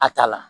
A ta la